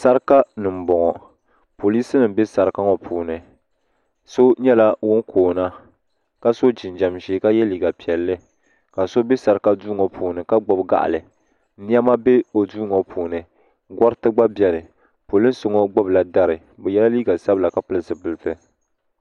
Saraka ni m boŋɔ polisi nima be saraka ŋɔ puuni so nyɛla ŋun koona ka so jinjiɛm ʒee ka ye liiga piɛlli ka so be saraka duu ŋɔ puuni ka gbibi gaɣali niɛma be o duu ŋɔ puuni goriti gba biɛmi polinsi ŋɔ gbibila dari bɛ yela liiga sabla ka pili zipilti.